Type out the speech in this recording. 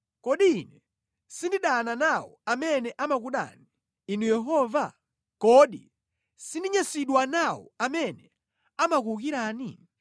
Kodi ine sindidana nawo amene amakudani, Inu Yehova? Kodi sindinyansidwa nawo amene amakuwukirani?